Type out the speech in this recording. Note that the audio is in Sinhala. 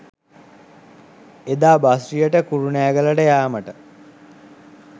එදා බස්රියට කුරුණෑගලට යාමට